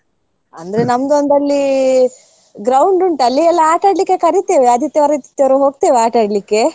ಅಂದ್ರೆ ನಮ್ದೊಂದ್ ಅಲ್ಲಿ ground ಉಂಟು ಅಲ್ಲಿ ಎಲ್ಲಾ ಆಟಾಡ್ಲಿಕ್ ಕರೀತೇವೆ ಆದಿತ್ಯವಾರ ಆದಿತ್ಯವಾರ ಹೋಗ್ತೇವೆ ಆಟಾಡ್ಲಿಕ್ಕೆ.